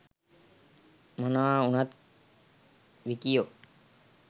මොනවා උනත් විකියෝ